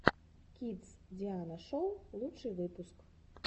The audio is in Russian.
кидс диана шоу лучший выпуск